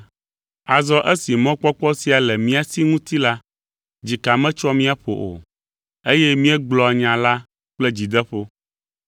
Azɔ esi mɔkpɔkpɔ sia le mía si ŋuti la, dzika metsoa mía ƒo o, eye míegblɔa nya la kple dzideƒo.